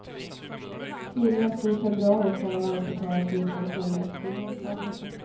Tidigast i februari kan lånet betalas ut om fullmäktige ger klartecken.